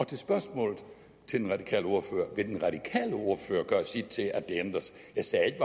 til spørgsmålet til den radikale ordfører vil den radikale ordfører gøre sit til at det ændres jeg sagde ikke